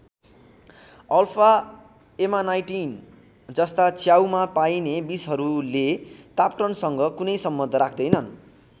Alpha amanitin जस्ता च्याउमा पाइने विषहरूले तापक्रमसँग कुनै सम्बन्ध राख्दैनन्।